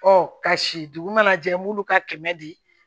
ka si dugu mana jɛ an b'olu ka kɛmɛ di